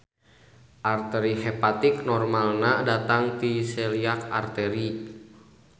Arteri hepatik normalna datang ti celiac artery.